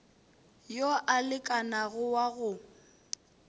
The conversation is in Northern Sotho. yo a lekanago wa go